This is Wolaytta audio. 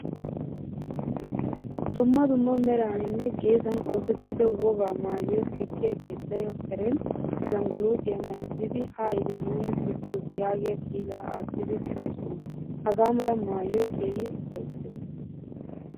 Dumma dumma meraninne geesan oosettida wogaa maayuwaa sikiya keettay karen ashaangulitiya maayzidi haayite nuuni sikoos yaagiyaa kita aattidi deosona. Hagaamala maayoy keehin ufaysees.